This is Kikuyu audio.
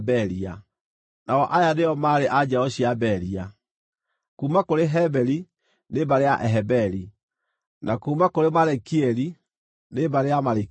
nao aya nĩo maarĩ a njiaro cia Beria: kuuma kũrĩ Heberi, nĩ mbarĩ ya Aheberi; na kuuma kũrĩ Malikieli, nĩ mbarĩ ya Amalikieli.